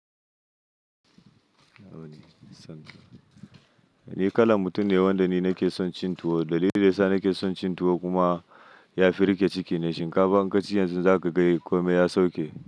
Ni kalan mutum ne wanda ni nake son cin tuwo. Dalilin da yasa nake son cin tuwo kuma ya fi riƙe ciki ne. Shinkafa in kaci yanzu za ka ga komai ya sauke.